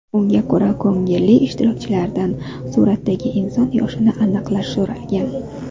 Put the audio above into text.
Unga ko‘ra ko‘ngilli ishtirokchilardan suratdagi inson yoshini aniqlash so‘ralgan.